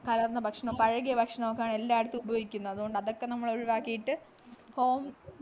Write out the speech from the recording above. കലർന്ന ഭക്ഷണം പഴകിയ ഭക്ഷണംഒക്കെ എല്ലായിടത്തും ഉപയോഗിക്കുന്നു അതുകൊണ്ടാ അതൊക്കെ നമ്മളൊഴിവാക്കീട്ടു home